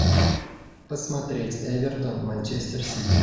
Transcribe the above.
посмотреть эвертон манчестер сити